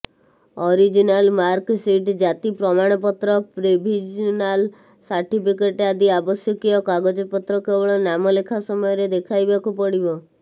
original marksheet ଜାତି ପ୍ରମାଣପତ୍ର provisional certificate ଆଦି ଆବଶ୍ୟକୀୟ କାଗଜପତ୍ର କେବଳ ନାମଲେଖା ସମୟରେ ଦେଖାଇବାକୁ ପଡ଼ିବ